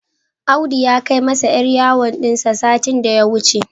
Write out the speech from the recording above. Audu ya kai masa 'yar yawon din satin da ya wuce.